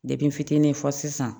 n fitinin fɔ sisan